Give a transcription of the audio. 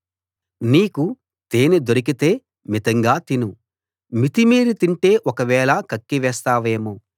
నీకు తేనె దొరికితే మితంగా తిను మితిమీరి తింటే ఒకవేళ కక్కి వేస్తావేమో